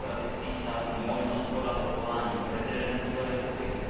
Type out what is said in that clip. demokratických států, možnost podat odvolaní k prezidentu republiky.